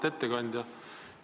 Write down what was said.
Auväärt ettekandja!